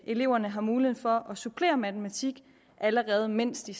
eleverne har mulighed for at supplere matematik allerede mens de